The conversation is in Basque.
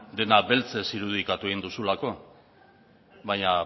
dena beltzez irudikatu egin duzulako baina